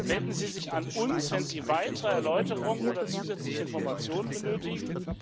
Wenden Sie sich an uns, wenn Sie weitere Erläuterungen oder zusätzliche Informationen benötigen.